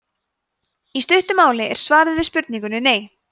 í stuttu máli er svarið við spurningunni nei